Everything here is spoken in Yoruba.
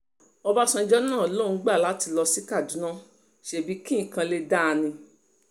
ọbàṣánjọ náà lòun gbà láti lọ sí kaduna ṣebí kí nǹkan lè dáa náà ni